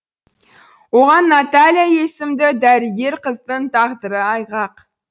оған наталья есімді дәрігер қыздың тағдыры айғақ